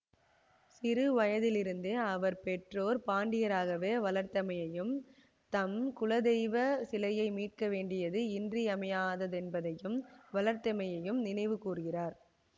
சிறுவயதிலிருந்தே அவர் பெற்றோர் பாண்டியராகவே வளர்த்தமையும் தம் குலதெய்வ சிலையை மீட்க வேண்டியது இன்றியமையாததென்பதையும் வளர்த்தமையையும் நினைவுகூர்கிறார்